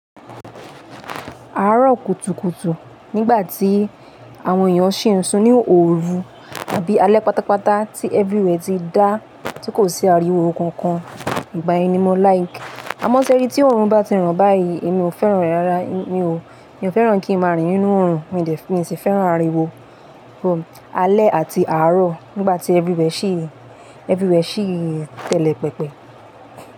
Àárọ̀ kùtùkùtù nígbà tí àwọn èèyàn ṣì ń sun ní òru tàbí alẹ́ pátápátá tí everywhere ti dá tí kò sí ariwo kankan ìgbà yẹn ni mọ́ like. Àmọ́ sẹ́rí tí òrùn bá ti ràn báyìí, èmi ò fẹ́ràn rẹ̀ rárá. Èmi ò, èmi ò fẹ́ràn kí ń máa rín nínú òrùn. Mi osi fẹ́ràn ariwo, alẹ́ àti àárọ̀ nígbàtí everywhere ṣì telepepe.